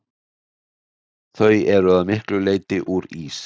Þau eru að miklu leyti úr ís.